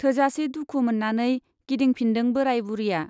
थोजासे दुखु मोन्नानै गिदिंफिनदों बोराय बुरिया।